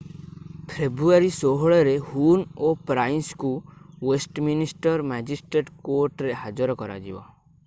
ଫେବୃଆରୀ 16 ରେ ହୁନ୍ ଓ ପ୍ରାଇସ୍ଙ୍କୁ ୱେଷ୍ଟମିନିଷ୍ଟର୍ ମାଜିଷ୍ଟ୍ରେଟ୍ କୋର୍ଟରେ ହାଜର କରାଯିବ